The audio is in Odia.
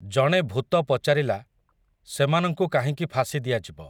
ଜଣେ ଭୂତ ପଚାରିଲା, ସେମାନଙ୍କୁ କାହିଁକି ଫାଶୀ ଦିଆଯିବ ।